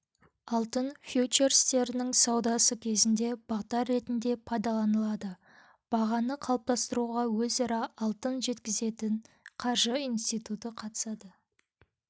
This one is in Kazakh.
алтын фьючерстерінің саудасы кезінде бағдар ретінде пайдаланылады бағаны қалыптастыруға өзара алтын жеткізетін қаржы институты қатысады